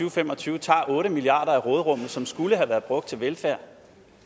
og fem og tyve tager otte milliard kroner af råderummet som skulle have været brugt til velfærd